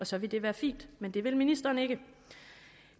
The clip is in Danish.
så ville det være fint men det vil ministeren ikke